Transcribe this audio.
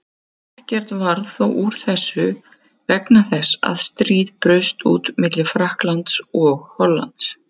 Ekkert varð þó úr þessu vegna þess að stríð braust út milli Frakklands og Hollands.